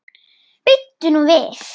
Bíddu nú við.